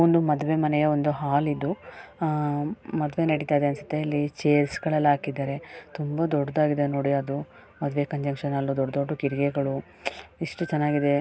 ಒಂದು ಮದುವೆಯ ಮನೆಯ ಒಂದು ಹಾಲ್ ಇದು ಆಹ್ಹ್ ಇದು ಮದುವೆ ನಡೀತಾ ಇದೆ ಅನ್ಸುತ್ತೆ ಚೇರ್ಸ್ ಗಳೆಲ್ಲ ಹಾಕಿದ್ದಾರೆ ತುಂಬಾ ದೊಡ್ಡದಾಗಿದೆ ನೋಡಿ ಅದು ಮದುವೆ ಕನ್ವೆನ್ಷನಲ್ ಹಾಲ್ ದೊಡ್ಡ್ ದೊಡ್ಡ್ ಕಿಟಿಕಿಗಳು ಎಷ್ಟು ಚೆನ್ನಾಗಿದೆ .